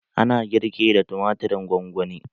Ana girki da tumatirin gongoni.